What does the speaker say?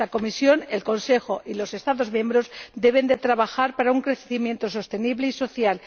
Esta Comisión, el Consejo y los Estados miembros deben trabajar para un crecimiento sostenible y social.